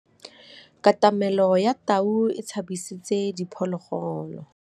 Katamêlô ya tau e tshabisitse diphôlôgôlô.